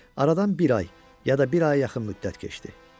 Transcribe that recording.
Aradan bir ay ya da bir aya yaxın müddət keçdi.